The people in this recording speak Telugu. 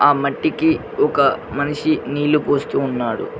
ఆ మట్టికి ఒక మనిషి నీళ్లు పోస్తూ ఉన్నాడు.